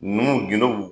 Numu gindo